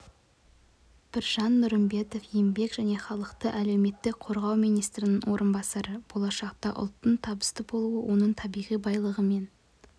біржан нұрымбетов еңбек және халықты әлеуметтік қорғау министрінің орынбасары болашақта ұлттың табысты болуы оның табиғи байлығымен